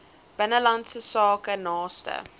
binnelandse sake naaste